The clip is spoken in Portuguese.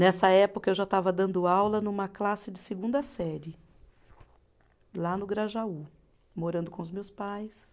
Nessa época, eu já estava dando aula numa classe de segunda série, lá no Grajaú, morando com os meus pais.